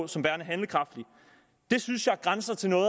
som værende handlekraftige synes jeg grænser til noget